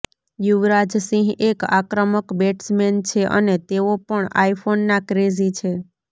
યુવરાજ સિંહ એક આક્રમક બેટ્સમેન છે અને તેઓ પણ આઈફોનના ક્રેઝી છે